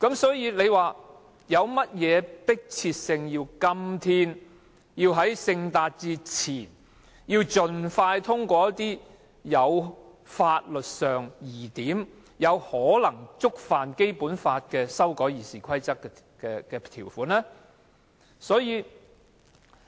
所以，為何如此迫切，要在今天、在聖誕節前盡快通過一些法律上有爭議且可能抵觸《基本法》的《議事規則》修訂？